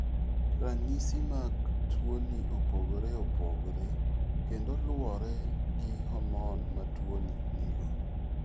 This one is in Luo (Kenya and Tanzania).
Ranyisi mag tuoni opogore opogore kendo luwore gi hormone ma tuoni nigo.